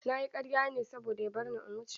Na yi karya ne saboda ya barni in wuce.